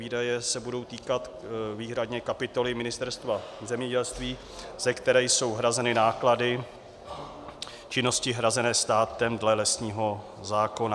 Výdaje se budou týkat výhradně kapitoly Ministerstva zemědělství, ze které jsou hrazeny náklady činnosti hrazené státem dle lesního zákona.